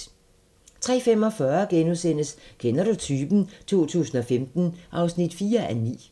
03:45: Kender du typen? 2015 (4:9)*